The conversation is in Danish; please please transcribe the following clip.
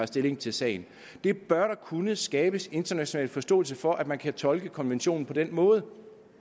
stilling til sagen der bør kunne skabes international forståelse for at man kan tolke konventionen på den måde